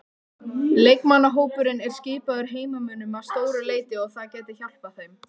Leikmannahópurinn er skipaður heimamönnum að stóru leyti og það gæti hjálpað þeim.